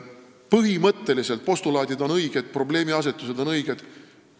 Põhimõtteliselt postulaadid on õiged, probleemiasetused on õiged.